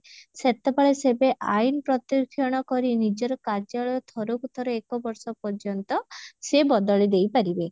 ସେତେବେଳେ ସେବେ ଆଇନ ପ୍ରତିକ୍ଷଣ କରି ନିଜର କାର୍ଯ୍ୟାଳୟ ଥରକୁ ଥର ଏକ ବର୍ଷ ପର୍ଯ୍ୟନ୍ତ ସେ ବଦଳି ଦେଇ ପାରିବେ